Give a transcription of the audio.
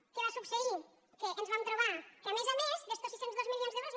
què va succeir que ens vam trobar que a més a més d’estos sis cents i dos milions d’euros